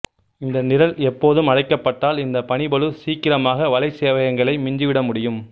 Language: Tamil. இந்த நிரல் எப்போதும் அழைக்கப்பட்டால் இந்த பணிப்பளு சீக்கிரமாக வலைச் சேவையகங்களை மிஞ்சிவிட முடியும்